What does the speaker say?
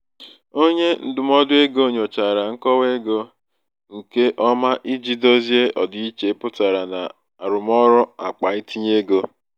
onye ndụmọdụ ego nyochachara nkọwa ego nke nkọwa ego nke ọma iji dozie ọdịiche pụtara na arụmọrụ akpa itinye ego.